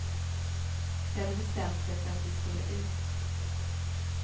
De hade bestämt sig för att vi skulle ut.